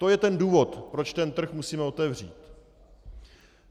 To je ten důvod, proč ten trh musíme otevřít.